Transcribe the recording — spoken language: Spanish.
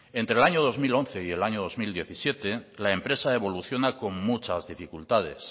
entre el año dos mil once y el año dos mil diecisiete la empresa evoluciona con muchas dificultades